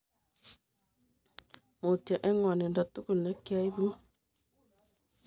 Mutyo eng ngwanindo tugul nekiaibun